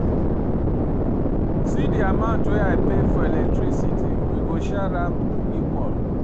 See di amount wey I pay for electricity, we go share am equal.